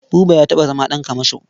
Buba ya taɓa zama ɗan kamasho.